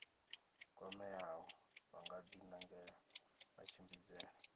kwameaho vha nga dinangela matshimbidzele